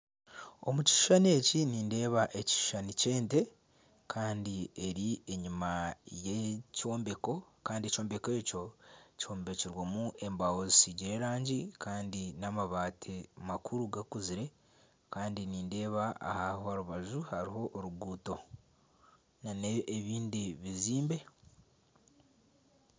Omu Kishushani eki nindeba ekishushani ky'ente Kandi eri enyima y'ekyombeko Kandi ekyombeko ekyo kyombekirwemu embaho zisigiire erangi Kandi n'amabati makuru gakuzire Kandi nindeeba aha rubaju hariho oruguuto n'ebindi bizimbe.